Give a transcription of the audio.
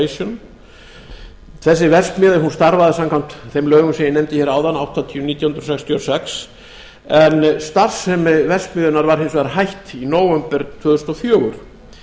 manville corporation þessi verksmiðja starfaði samkvæmt þeim lögum sem ég nefndi hér áðan númer áttatíu nítján hundruð sextíu og sex en starfsemi verksmiðjunnar var hins vegar hætt í nóvember tvö þúsund og fjögur